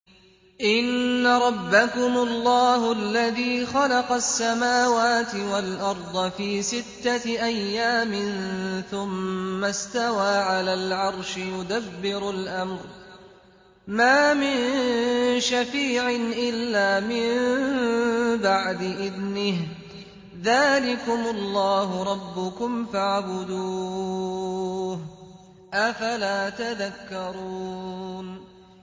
إِنَّ رَبَّكُمُ اللَّهُ الَّذِي خَلَقَ السَّمَاوَاتِ وَالْأَرْضَ فِي سِتَّةِ أَيَّامٍ ثُمَّ اسْتَوَىٰ عَلَى الْعَرْشِ ۖ يُدَبِّرُ الْأَمْرَ ۖ مَا مِن شَفِيعٍ إِلَّا مِن بَعْدِ إِذْنِهِ ۚ ذَٰلِكُمُ اللَّهُ رَبُّكُمْ فَاعْبُدُوهُ ۚ أَفَلَا تَذَكَّرُونَ